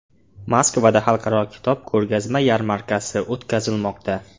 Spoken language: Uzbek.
Moskvada Xalqaro kitob ko‘rgazma yarmarkasi o‘tkazilmoqda.